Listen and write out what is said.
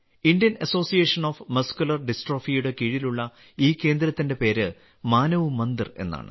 Indian association of muscular ഡിസ്ട്രോഫിയുടെ കീഴിലുള്ള ഈ കേന്ദ്രത്തിന്റെ പേര് മാനവ് മന്ദിർ എന്നാണ്